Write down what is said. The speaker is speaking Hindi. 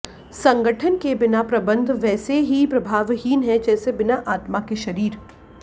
संगठन के बिना प्रबन्ध वैसे ही प्रभावहीन है जैसे बिना आत्मा के शरीर